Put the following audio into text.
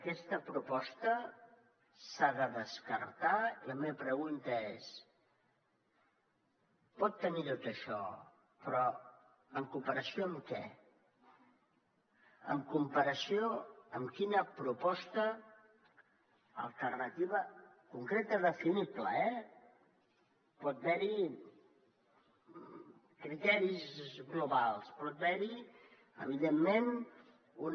aquesta proposta s’ha de descartar la meva pregunta és pot tenir tot això però en comparació amb què en comparació amb quina proposta alternativa concreta definible eh pot haver hi criteris globals pot haver hi evidentment una